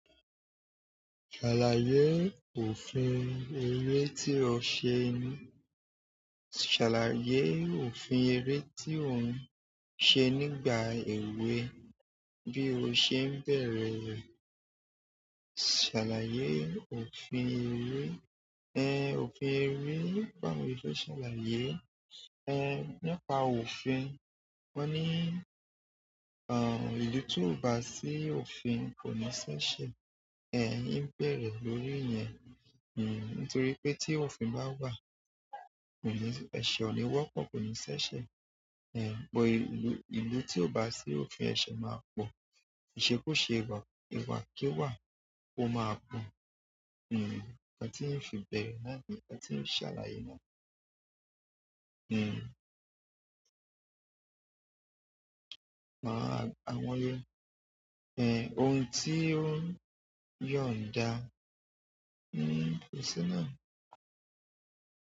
Ṣàlàyé òfin eré tí ó ṣe ní. Ṣàlàyé òfin eré tí òun ṣe nígbà èwe bí o ṣe ń bẹ̀rẹ̀ rẹ̀. Ṣalaye òfin ere, òfin ere, báwo ni mo ṣe fẹ ṣalaye, nípa ọfin wọn ni ìlú ti o ba si òfin kọkinṣi ese in bẹ̀rẹ̀ lórí iyẹn. Nítorí pé tí òfin bá wà, ẹ̀ṣẹ̀ ò ni wọ́pọ̀, kò ní ṣi ẹsẹ. But ìlú, ìlú tí ò bá sí òfin ẹ̀ṣẹ̀ máa pọ̀. Ìṣekúṣe ìwà, ìwà kiwàá ló máa pọ̀. Nkan tí ń fi bẹ̀rẹ̀ naani, nkan tí ń ṣàlàyé náà ni. Ohun ti o n yanda kò sí náà.